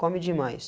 Come demais.